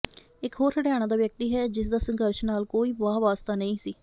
ਇਕ ਹੋਰ ਹਰਿਆਣਾ ਦਾ ਵਿਅਕਤੀ ਹੈ ਜਿਸ ਦਾ ਸੰਘਰਸ਼ ਨਾਲ ਕੋਈ ਵਾਹ ਵਾਸਤਾ ਨਹੀਂ ਸੀ